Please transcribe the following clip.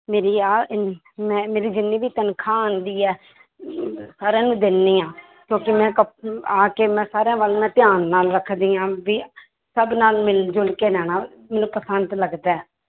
ਮੇਰੀ ਮੈਂ ਮੇਰੀ ਜਿੰਨੀ ਵੀ ਤਨਖਾਹ ਆਉਂਦੀ ਹੈ ਸਾਰਿਆਂ ਨੂੰ ਦਿੰਦੀ ਹਾਂ ਕਿਉਂਕਿ ਮੈਂ ਕਪ~ ਆ ਕੇ ਮੈਂ ਸਾਰਿਆਂ ਵੱਲ ਮੈਂ ਧਿਆਨ ਨਾਲ ਰੱਖਦੀ ਹਾਂ ਵੀ ਸਭ ਨਾਲ ਮਿਲ ਜੁਲ ਕੇ ਰਹਿਣਾ ਮੈਨੂੰ ਪਸੰਦ ਲੱਗਦਾ ਹੈ।